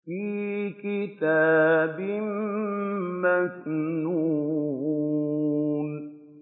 فِي كِتَابٍ مَّكْنُونٍ